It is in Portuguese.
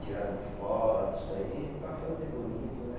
Tirado fotos aí para fazer bonito, né?